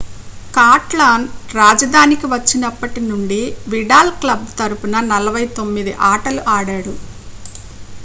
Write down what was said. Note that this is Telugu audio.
కాటలాన్-రాజధానికి వచ్చినప్పటి నుండి విడాల్ క్లబ్ తరఫున 49 ఆటలు ఆడాడు